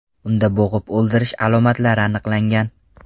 Unda bo‘g‘ib o‘ldirish alomatlari aniqlangan.